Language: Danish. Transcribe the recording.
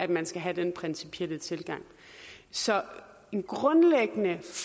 man skal have den principielle tilgang så en grundlæggende